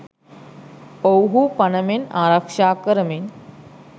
ඔවුහු පණ මෙන් ආරක්ෂා කරමින්